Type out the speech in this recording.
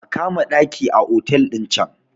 a kama ɗaki a otal ɗin can!